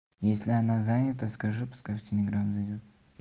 если она занята скажи пускай в телеграм зайдёт